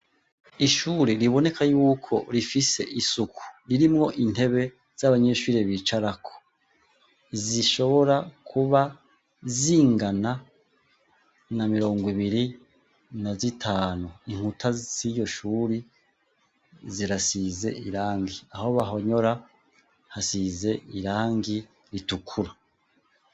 Ishure riboneka yuko rifise isuku, ririmwo intebe z'abanyeshure bicarako, zishobora kuba zingana na mirongo ibiri na zitanu, inkuta ziyo shuri zirasize irangi, aho bahonyora hasize irangi ritukura.